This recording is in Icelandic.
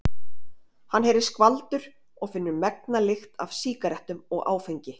Hann heyrir skvaldur og finnur megna lykt af sígarettum og áfengi.